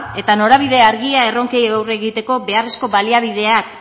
eta norabide argia erronkei aurre egiteko beharrezko baliabideak